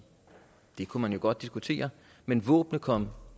det kunne man godt diskutere men våbnene kom